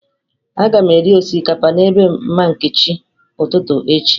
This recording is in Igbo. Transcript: Aga m eri osikapa na ebe mama Nkechi ụtụtụ echi..